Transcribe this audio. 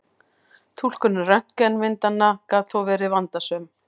Túlkun röntgenmyndanna gat þó verið vandasöm.